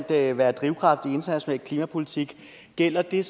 at være en drivkraft i international klimapolitik gælder det